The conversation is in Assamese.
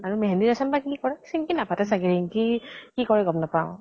মেহেন্দি ৰচম বা কি কৰে, চিন্কি নাপাতে চাগে। ৰিঙ্কি কি কৰে গম নাপাওঁ।